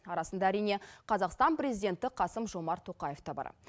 арасында әрине қазақстан президенті қасым жомарт тоқаев та бар